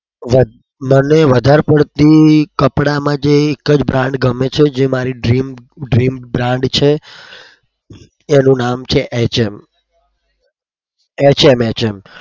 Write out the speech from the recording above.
મને વધાર પડતી કપડામાં જે એક જ brand ગમે છે જે મારી dream dream brand છે એનું નામ છે hm